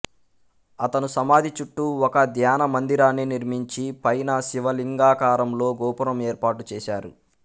అతను సమాధి చుట్టూ ఒక ధ్యానమందిరాన్ని నిర్మించి పైన శివలింగాకారంలో గోపురం ఏర్పాటు చేశారు